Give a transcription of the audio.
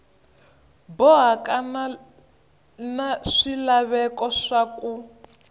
bohaka na swilaveko swa ku